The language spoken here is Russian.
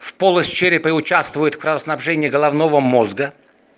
в полость черепа и участвуют в кровоснабжении головного мозга